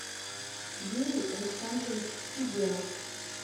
юрий александрович сеземов